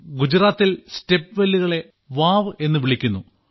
ഗുജറാത്തിൽ സ്റ്റെപ്വെല്ലുകളെ വാവ് എന്നു വിളിക്കുന്നു